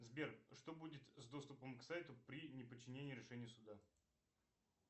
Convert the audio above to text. сбер что будет с доступом к сайту при неподчинении решению суда